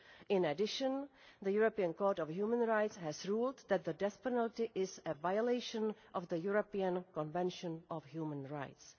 In addition, the European Court of Human Rights has ruled that the death penalty is a violation of the European Convention on Human Rights.